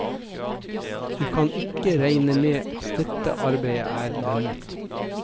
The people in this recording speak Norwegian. Du kan ikke regne med at dette arbeidet er lønnet.